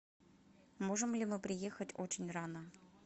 можем ли мы приехать очень рано